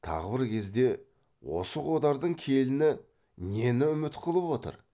тағы бір кезде осы қодардың келіні нені үміт қылып отыр